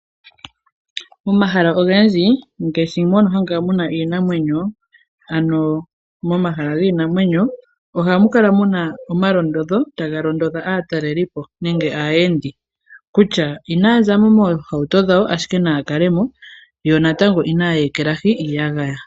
Momahala ogendji ngaashi mono hamu kala iinamwenyo ano momahala giinamwenyo, ohamu kala mu na omalondodho taga londodha aataleli po nenge aayendi, kutya inaya za mo moohauto dhawo, ashike naya kale mo, yo natango inaya ekelahi iiyagaya.